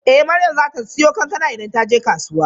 Eh Maryam zata siyo kankana idan taje kasuwa.